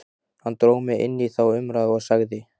Hann dró mig inn í þá umræðu og sagði